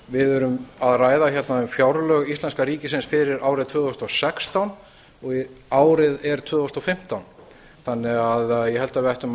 við erum að ræða hérna um fjárlög íslenska ríkisins fyrir árið tvö þúsund og sextán og árið er tvö þúsund og fimmtán þannig að ég held að við ættum að